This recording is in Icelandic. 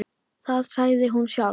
Það sagði hún sjálf.